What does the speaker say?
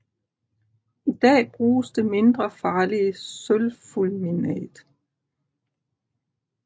I dag bruges det mindre farlige sølvfulminat